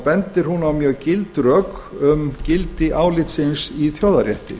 bendir hún á mjög gild rök um gildi álitsins í þjóðarrétti